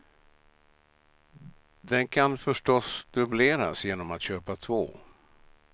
Den kan förstås dubbleras genom att köpa två.